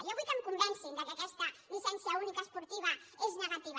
jo vull que em convencin que aquesta llicència única esportiva és negativa